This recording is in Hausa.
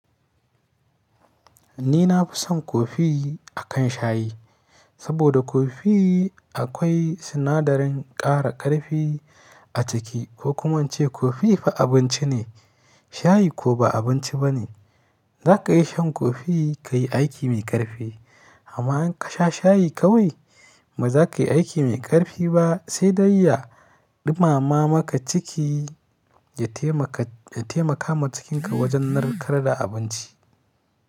Ni na fi son kofi akan shayi, saboda kofi akwai sinadarin ƙara ƙarfi a ciki. Ko kuma ince kofi fa abinci ne, shayi ko ba abinci ba ne. Za ka yi shan kofi ka yi aiki mai ƙarfi. Amma in ka sha shayi kawai ba za ka yi aiki mai ƙarfi ba, sai dai ya ɗumama maka ciki, ya taimaka, ya taimaka ma cikinka wajen narkar da abinci.